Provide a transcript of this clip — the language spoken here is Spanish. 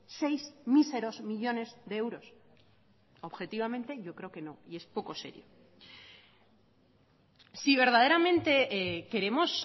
seis míseros millónes de euros objetivamente yo creo que no y es poco serio si verdaderamente queremos